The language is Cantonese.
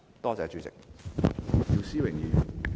多謝主席。